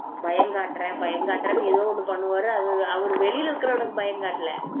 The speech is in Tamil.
தான் பயம் காட்டுறேன் பயம் காட்டுறேன் ஏதோ ஒன்னு பண்ணுவாரு வெளியே இருக்கிற உனக்கு பயம் காட்டல